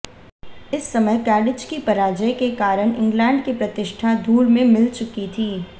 इस समय कैडिज की पराजय के कारण इंग्लैण्ड की प्रतिष्ठा धूल में मिल चुकी थी